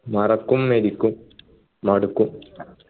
മറക്കും മരിക്കും മടുക്കും